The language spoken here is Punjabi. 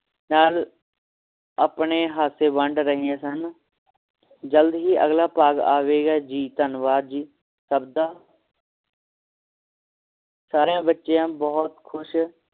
ਨਾਲ ਆਪਣੇ ਹੱਥ ਦੇ ਵੰਡ ਰਹੇ ਹਨ ਜਲਦ ਹੀ ਅਗਲਾ ਭਾਗ ਆਵੇਗਾ ਧਨਵਾਦ ਜੀ ਸਭ ਦਾ ਸਾਰਿਆਂ ਬੱਚਿਆਂ ਬਹੁਤ ਖੁਸ਼